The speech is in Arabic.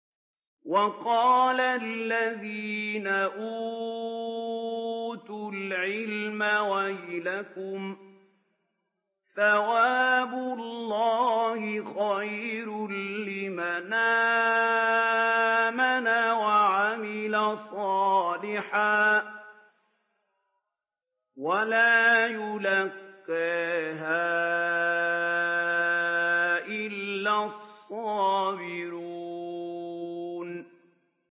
وَقَالَ الَّذِينَ أُوتُوا الْعِلْمَ وَيْلَكُمْ ثَوَابُ اللَّهِ خَيْرٌ لِّمَنْ آمَنَ وَعَمِلَ صَالِحًا وَلَا يُلَقَّاهَا إِلَّا الصَّابِرُونَ